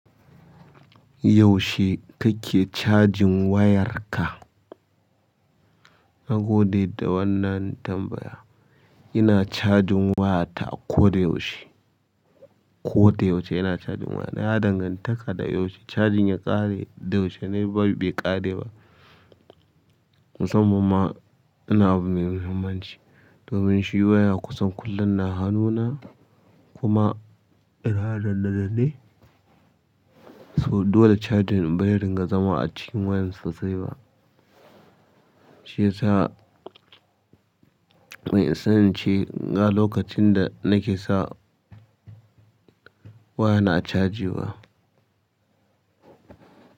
Yaushe kake cajin wayarka? Na gode da wannan tambaya. Ina chajin wayata a koda yaushe. Koda yaushe ina cajin waya. Na danganta ka da yaushe cajin ya ƙare da yaushe ne bai ƙare ba. Musamman ma ina abu mai mahimmanci domin shi waya kusan kullum na hanuna kuma yana danne danne. So dole cajin bai ringa zama a cikin wayar sosai ba. Shiyasa, ban isa ince ga lokacin da nake sa waya na caji ba.